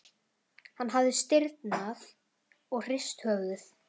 Hann hafði stirðnað og hrist höfuðið.